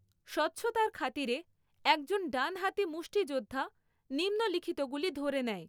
স্বচ্ছতার খাতিরে একজন ডানহাতি মুষ্টিযোদ্ধা নিম্নলিখিতগুলি ধরে নেয়।